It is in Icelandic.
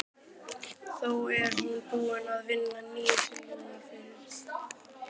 Þó er hún búin að vinna nýju tillögurnar fyrir